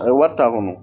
A ye wari ta a kɔnɔ